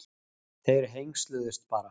Þeir hengsluðust bara.